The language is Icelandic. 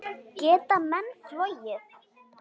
Geta menn flogið?